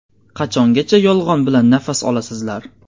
Qachongacha yolg‘on bilan nafas olasizlar?